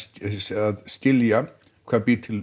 að skilja hvað býr til